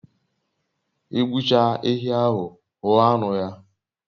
I gbu chaa ehi ahu, huo anu ya